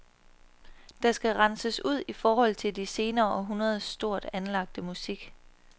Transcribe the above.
Der skal renses ud i forhold til de senere århundreders stort anlagte musik.